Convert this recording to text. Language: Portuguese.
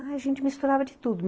A gente misturava de tudo.